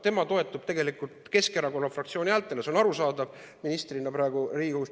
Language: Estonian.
Tema toetub Keskerakonna fraktsiooni häältele, see on arusaadav, ministrina praegu Riigikogus.